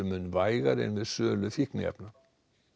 mun vægari en við sölu fíkniefna